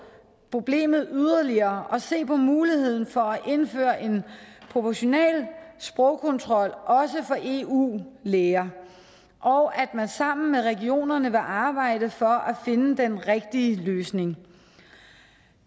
problemet yderligere og se på muligheden for at indføre en proportional sprogkontrol også for eu læger og at man sammen med regionerne vil arbejde for at finde den rigtige løsning